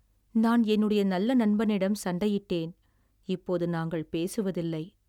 நான் என்னுடைய நல்ல நண்பனிடம் சண்டையிட்டேன், இப்போது நாங்கள் பேசுவதில்லை.